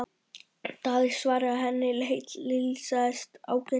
Daði svaraði að henni heilsaðist ágætlega.